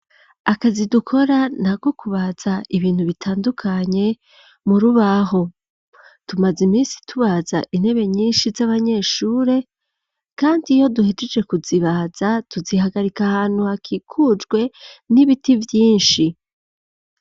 Akazi dukora nako kubaza ibintu bitandukanye murubaho ,tumaze iminsi tubaza intebe nyinshi z'abanyeshuri kandi iyo duhejeje kuzibaza tuzihagarika ahantu hakikujwe n'ibiti vyinshi.